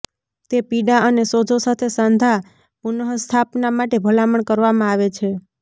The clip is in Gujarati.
તે પીડા અને સોજો સાથે સાંધા પુનઃસ્થાપના માટે ભલામણ કરવામાં આવે છે